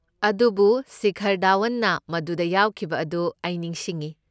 ꯑꯗꯨꯕꯨ ꯁꯤꯈꯔ ꯙꯥꯋꯟꯅ ꯃꯗꯨꯗ ꯌꯥꯎꯈꯤꯕ ꯑꯗꯨ ꯑꯩ ꯅꯤꯡꯁꯤꯡꯉꯤ꯫